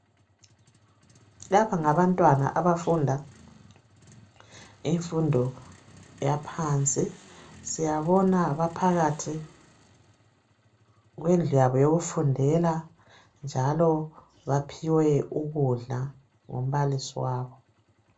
Lapha ngabantwana abafunda infundo yaphansi. Siyabona baphakathi kwendlu yabo yokufundela. Njalo baphiwe ukudla ngumbalisi wabo.